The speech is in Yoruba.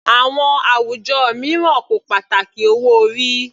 Àwọn àwùjọ mìíràn kò pàtàkì owó orí.